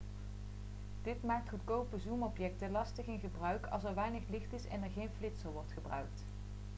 dit maakt goedkope zoomobjectieven lastig in gebruik als er weinig licht is en er geen flitser wordt gebruikt